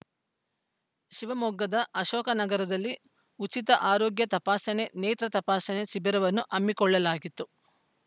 ಶಿವಮೊಗ್ಗದ ಅಶೋಕನಗರದಲ್ಲಿ ಉಚಿತ ಆರೋಗ್ಯ ತಪಾಸಣೆ ನೇತ್ರ ತಪಾಸಣೆ ಶಿಬಿರವನ್ನು ಹಮ್ಮಿಕೊಳ್ಳಲಾಗಿತ್ತು